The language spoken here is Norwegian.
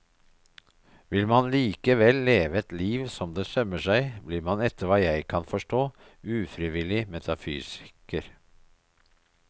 Vil man likevel leve et liv som det sømmer seg, blir man etter hva jeg kan forstå ufrivillig metafysiker.